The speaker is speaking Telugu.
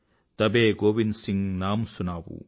తబే గోవింద్ సింగ్ నామ్ సునావూ